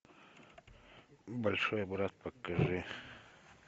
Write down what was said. большой брат покажи